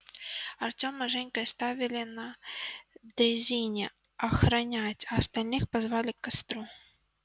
артёма с женькой оставили на дрезине охранять а остальных позвали к костру